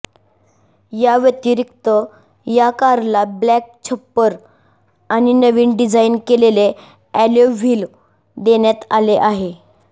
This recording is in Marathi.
या व्यतिरिक्त या कारला ब्लॅक छप्पर आणि नवीन डिझाइन केलेले अॅलोय व्हील देण्यात आले आहे